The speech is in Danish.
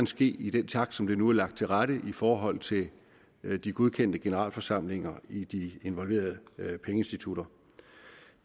ske i den takt som det nu er lagt til rette i forhold til de godkendte generalforsamlinger i de involverede pengeinstitutter